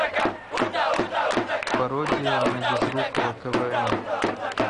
пародия на безрукова квн